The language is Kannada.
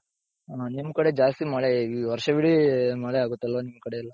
ಹ ನಿಮ್ ಕಡೆ ಜಾಸ್ತಿ ಮಳೆ ವರ್ಷವಿಡಿ ಮಳೆ ಆಗುತ್ತಲ್ವ ನಿಮ್ ಕಡೆಯೆಲ್ಲಾ?